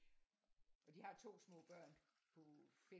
Og de har 2 små børn på 5